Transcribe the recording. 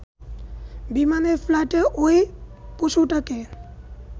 বিমানের ফ্লাইটে ওই পশুটাকে